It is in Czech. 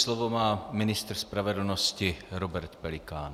Slovo má ministr spravedlnosti Robert Pelikán.